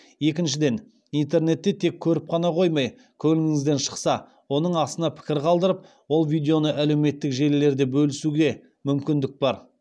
екіншіден интернетте тек көріп қана қоймай көңіліңізден шықса оның астына пікір қалдырып ол видеоны әлеуметтік желілерде бөлісуге мүмкіндік бар